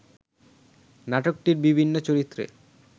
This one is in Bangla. নাটকটির বিভিন্ন চরিত্রে